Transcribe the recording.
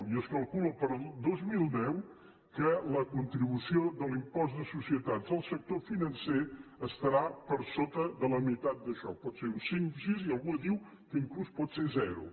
i es calcula per al dos mil deu que la contribució de l’impost de societats del sector financer estarà per sota de la meitat d’això pot ser un cinc un sis i algú diu que fins i tot pot ser zero